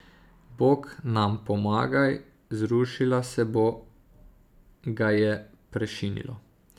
Bog nam pomagaj, zrušila se bo, ga je prešinilo.